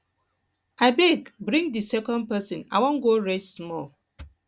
abeg bring the second person i wan go rest small